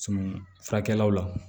furakɛlaw la